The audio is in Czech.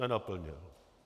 Nenaplnil.